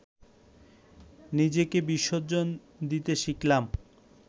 নিজেকে বিসর্জন দিতে শিখলাম